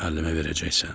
"Müəllimə verəcəksən?"